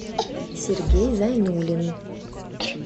сергей зайнуллин